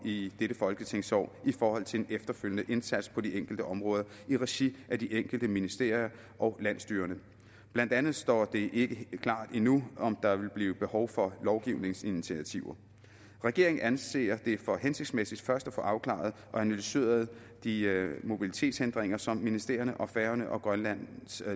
i dette folketingsår kan i forhold til en efterfølgende indsats på de enkelte områder i regi af de enkelte ministerier og landsstyrerne blandt andet står det ikke klart endnu om der vil blive behov for lovgivningsinitiativer regeringen anser det for hensigtsmæssigt først at få afklaret og analyseret de mobilitetshindringer som ministerierne og færøerne og grønland